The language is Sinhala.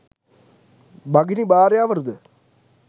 භගිනි භාර්යාවරු ද